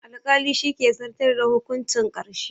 Alƙali shi ke zartar da hukuncin ƙarshe